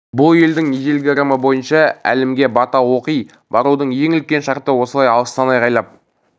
бұл елдің ежелгі ырымы бойынша әлімге бата оқи барудың ең үлкен шарты осылай алыстан айғайлап